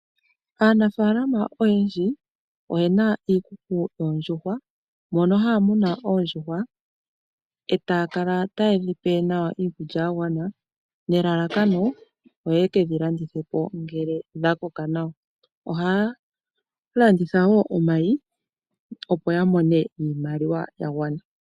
Aanafalama oyendji oyena iikuku yoondjuhwa, mono haya munu oondjuhwa, e taya kala tayedhipe iikulya yagwana, nelalakano opo yekedhi landithe ngele dhakoka nawa. Ohaya landitha wo nomayi opo yamone iimaliwa yagwana.